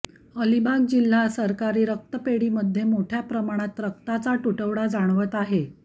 अलिबाग जिल्हा सरकारी रक्त पेढीमध्ये मोठ्या प्रमाणात रक्ताचा तुटवडा जाणवत आहे